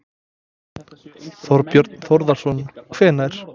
Þorbjörn Þórðarson: Hvenær?